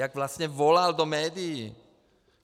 Jak vlastně volal do médií.